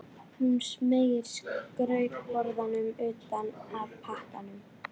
Hún smeygir skrautborðanum utan af pakkanum.